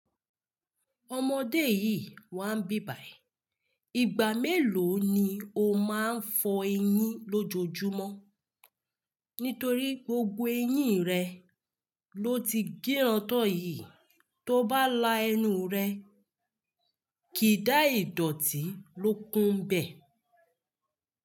Ọmọdé yìí wà ń bí bài. Igba meelo ni o máa ń fọ eyín lójoojúmọ́? Nítorí gbogbo eyín rẹ lo ti gírán tọ̀ yìí, tó bá la ẹnu rẹ, kì í dà ìdọ̀tí ló kún ń bẹ̀.